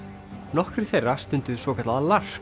nokkrir þeirra stunduðu svokallað